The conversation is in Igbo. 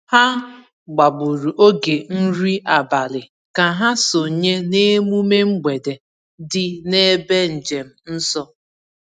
Ha gbagburu oge nri abalị ka ha sonye n’emume mgbede dị n’ebe njem nsọ.